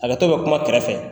Hakɛto bɛ kuma kɛrɛfɛ.